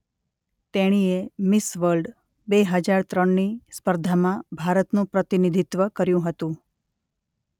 તેણીએ Miss World બે હજાર ત્રણની સ્પર્ધામાં ભારતનું પ્રતિનિધિત્વ કર્યું હતું